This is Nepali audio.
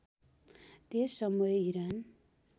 त्यस समय इरान